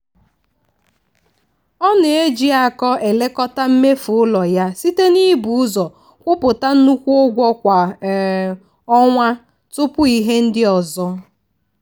ọ na-eji akọ elekọta mmefu ụlọ ya site n'ibu ụzọ kwụpụta nnukwu ụgwọ kwa um ọnwa tupu ihe ndị ọzọ.